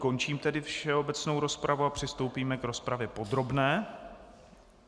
Končím tedy všeobecnou rozpravu a přistoupíme k rozpravě podrobné.